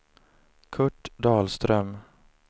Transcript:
Curt Dahlström